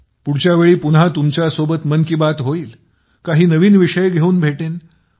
पुढच्या वेळी पुन्हा तुमच्यासोबत मन की बात होईल काही नवीन विषय घेऊन भेटेन